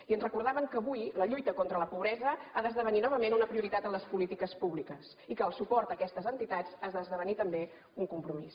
i ens recordaven que avui la lluita contra la pobresa ha d’esdevenir novament una prioritat en les polítiques públiques i que el suport a aquestes entitats ha d’esdevenir també un compromís